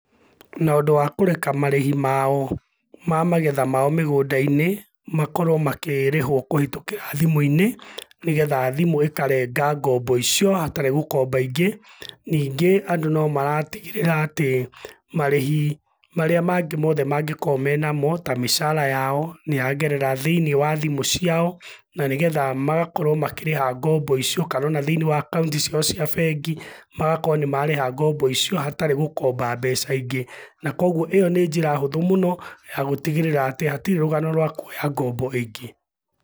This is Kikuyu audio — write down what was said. Na ũndũ wa kũreka marĩhi mao, ma magetha mao mĩgũnda-inĩ, makorũo makĩrĩhũo kũhĩtũkĩra thimu-inĩ, nĩgetha thimũ ikarenga ngombo icio, hatarĩ gũkomba ingĩ. Ningĩ andũ nomaratigĩrĩra atĩ, marĩhi marĩa mangĩ mothe mangĩkorũo menamo, ta mĩcara yao, nĩyagerera thĩiniĩ wa thimũ ciao, na nĩgetha magakorũo makĩrĩha ngombo icio, kana ona thĩiniĩ wa akaunti ciao cia bengi, magakorũo nĩmarĩha ngombo icio, hatarĩ gũkomba mbeca ingĩ. Na kuoguo, ĩyo nĩ njĩra hũthũ mũno, ya gũtigĩrĩra atĩ hatirĩ rũgano rwa kuoya ngombo ĩngĩ.